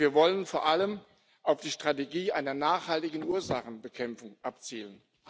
Und wir wollen vor allem auf die Strategie einer nachhaltigen Ursachenbekämpfung abzielen.